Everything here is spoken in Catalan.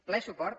ple suport